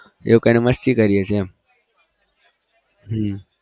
એવું કઈને મસ્તી કરીએ છીએ એમ